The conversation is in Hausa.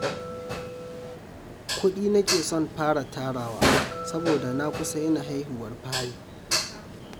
Kuɗi nake son fara tarawa saboda na kusa yin haihuwar fari